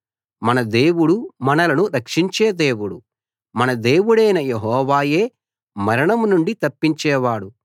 మన దేవుడు మనలను రక్షించే దేవుడు మన దేవుడైన యెహోవాయే మరణం నుండి తప్పించేవాడు